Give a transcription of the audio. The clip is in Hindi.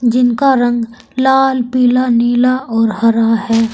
जिनका रंग लाल पीला नीला और हरा है।